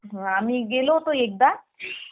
हो आम्ही गेलो होतो एकदा